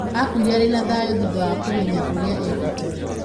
Aakuire arĩ na thayũ thutha wa kũmenya ũrĩa eekĩte.